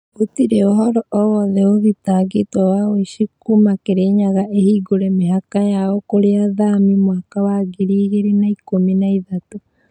Gũtirĩ ũhoro o wothe ũthitangĩtwo wa ũici kuuma kĩrĩnyaga ĩhingũre mĩhaka yao kwa athami mwaka wa ngiri igĩrĩ na ikũmi na ithatũ